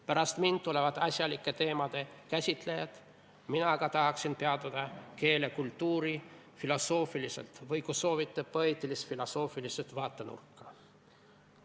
Pärast mind tulevad asjalike teemade käsitlejad, mina aga tahaksin peatuda keele kultuurifilosoofilisel või, kui soovite, poeetilis-filosoofilisel vaatenurgal.